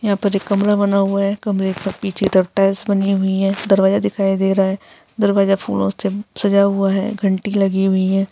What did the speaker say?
यहाँ पर एक कमरा बना हुआ है। कमरे का पीछे तरफ टाइल्स बनी हुई है। दरवाजा दिखाई दे रहा है। दरवाजा फूलों से सजा हुआ है। घंटी लगी हुई है।